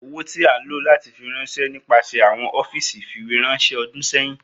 Owo ti a lo lati firanṣẹ nipasẹ awọn ọfiisi ifiweranṣẹ ọdun sẹhin